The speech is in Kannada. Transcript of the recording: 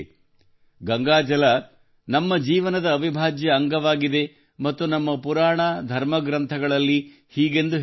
ಗಂಗಾ ಜಲ ನಮ್ಮ ಜೀವನದ ಅವಿಭಾಜ್ಯ ಅಂಗವಾಗಿದೆ ಮತ್ತು ನಮ್ಮ ಪುರಾಣ ಧರ್ಮಗ್ರಂಥಗಳಲ್ಲಿ ಹೀಗೆಂದು ಹೇಳಲಾಗಿದೆ